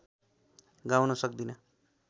गाउन सक्दिन